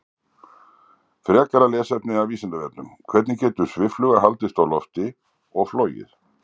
Frekara lesefni af Vísindavefnum: Hvernig getur sviffluga haldist á lofti og flogið?